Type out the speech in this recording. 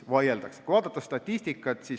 Vaatame statistikat.